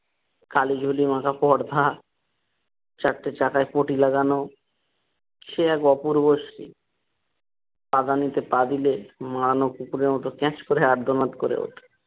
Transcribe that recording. কালী ঝুলি মাখা পর্দা চারটে চাকায় পটি লাগানো সে এক অপূর্বশ্রী পাদানিতে পা দিলে মারানো কুকুরের মতো ক্যাঁচ করে আব্দমত করে ওঠে।